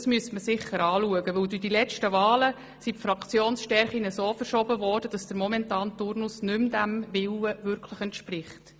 Das müsste man sicher anschauen, denn durch die letzten Wahlen haben sich die Fraktionsstärken so verschoben, dass der momentane Turnus dem nicht mehr wirklich entspricht.